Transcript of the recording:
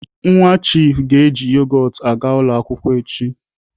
Nwa chiifu ga-eji yogot aga ụlọ akwụkwọ echi.